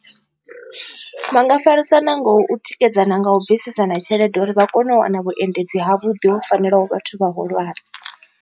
Vha nga farisana nga u tikedzana nga u bvisisana tshelede uri vha kone u wana vhuendedzi ha vhuḓi ho fanelaho vhathu vhahulwane.